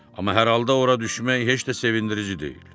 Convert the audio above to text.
Amma hər halda ora düşmək heç də sevindirici deyil.